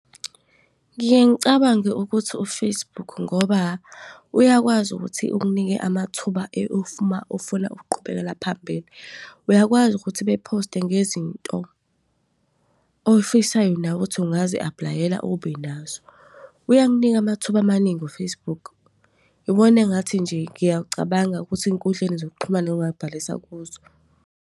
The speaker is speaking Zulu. Ngiye ngicabange ukuthi u-Facebook ngoba uyakwazi ukuthi unginike amathuba if uma ufuna ukuqhubekela phambili. Uyakwazi ukuthi bephoste ngezinto oyifisayo nawe ukuthi ungazi-apply-ela ubenazo. Uyakunika amathuba amaningi u-Facebook. Iwona engathi nje ngiyacabanga ukuthi ey'nkundleni zokuxhumana ongabhalisa kuzo.